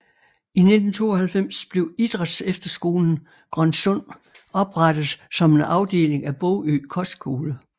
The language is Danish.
I 1992 blev Idrætsefterskolen Grønsund oprettet som en afdeling af Bogø Kostskole